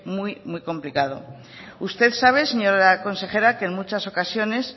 muy muy complicado usted sabe señora consejera que en muchas ocasiones